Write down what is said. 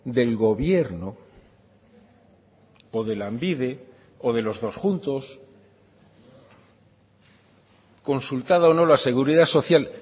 del gobierno o de lanbide o de los dos juntos consultada o no la seguridad social